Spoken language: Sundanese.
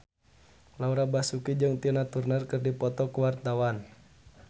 Laura Basuki jeung Tina Turner keur dipoto ku wartawan